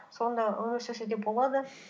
сонда өмір сүрсе де болады